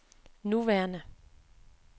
nuværende